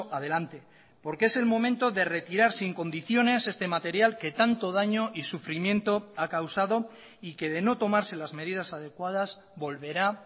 adelante porque es el momento de retirar sin condiciones este material que tanto daño y sufrimiento ha causado y que de no tomarse las medidas adecuadas volverá